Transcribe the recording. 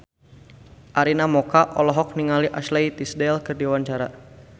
Arina Mocca olohok ningali Ashley Tisdale keur diwawancara